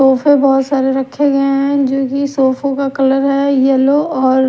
सोफे बहुत सारे रखे गए हैं जो की सोफा का कलर है येलो और।